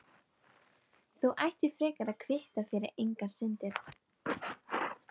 Þú ættir frekar að kvitta fyrir eigin syndir.